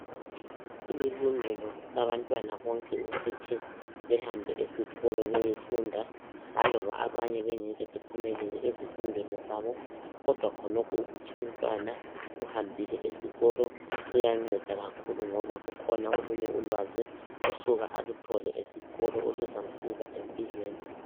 Kulilungelo labantwana bonke ukuthi behambe esikolo beyefunda, laloba abanye bengeke bephumelele ezifundweni zabo, kodwa khonokho ukuthi umntwana uhambile esikolo, kuyanceda kakhulu ngoba kukhona olunye ulwazi asuka aluthole esikolo oluzamsiza empilweni.